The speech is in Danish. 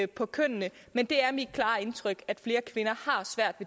på kønnene men det er mit klare indtryk at flere kvinder har svært